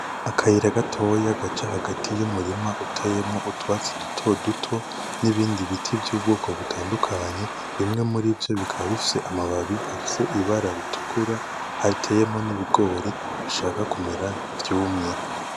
Akayira gatoya gaca hagati yumurima uteyemwo utwatsi duto duto nibindi biti vyubwoko butandukanye. Bimwe murivyo bikaba bifise amababi afise ibara ritukura, ateyemwo nibigori bishaka kumera nkivyumye.